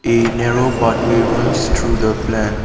a narrow pathway runs through the plant.